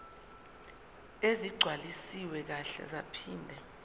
ezigcwaliswe kahle zaphinde